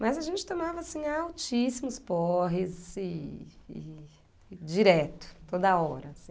Mas a gente tomava, assim, altíssimos porres e e e direto, toda hora.